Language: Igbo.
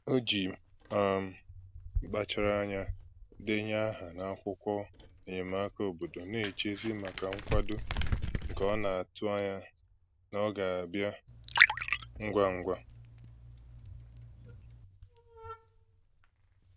O ji um mkpachara anya denye aha n'akwụkwọ enyemaka obodo, na-echezi maka nkwado nke ọ na-atụ anya na ọ ga-abịa ngwa ngwa